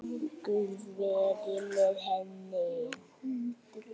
Guð veri með henni.